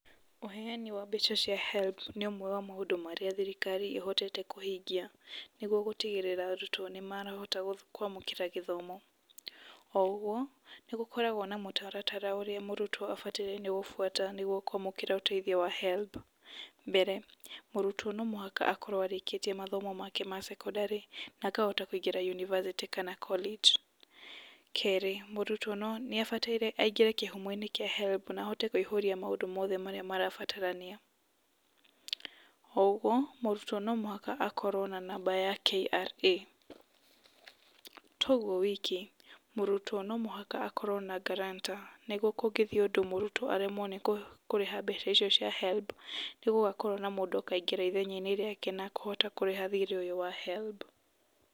Ũheani wa mbeca cia HELB nĩ ũmwe wa maũndũ marĩa thirikari ĩhotete kũhingia nĩguo gũtigĩrĩra arutwo nĩmarahota kũamũkĩra gĩthomo, o ũguo nĩgũkoragwo na mũtaratara ũrĩa mũrutwo abatairie nĩ gũbwata nĩguo kũamũkĩra ũteithio wa HELB. Mbere, mũrutwo no mũhaka akorwo arĩkĩtie mathomo make ma secondary na akahota kũingĩra university kana college Kerĩ, mũrutwo nĩabataire aingĩre kĩhumo-inĩ kĩa HELB na ahote kũihũria maũndũ mothe marĩa marabatarania . O ũguo mũrutwo no mũhaka akorwo na namba ya KRA, to ũguo wiki, mũrutwo no mũhaka akorwo na guarantor nĩguo kũngĩthiĩ mũrutwo aremwo nĩ kũrĩha mbeca icio cia HELB, nĩ gũgakorwo na mũndũ akaingĩra ithenya-inĩ rĩake na akũhota kũrĩha thirĩ ũyũ wa HELB.